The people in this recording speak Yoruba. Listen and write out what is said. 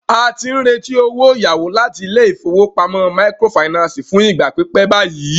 A ti ń retí owó ìyáwó láti ilé ìfowópamọ́ microfinance fún ìgbà pípẹ́ báyìí.